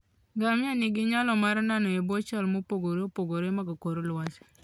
Ngamia nigi nyalo mar nano e bwo chal mopogore opogore mag kor lwasi.